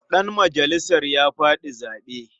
Ɗanmajalisan ya faɗi zaɓe.